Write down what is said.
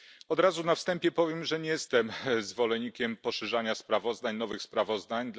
Od razu na wstępie powiem, że nie jestem zwolennikiem poszerzania sprawozdań, nowych sprawozdań.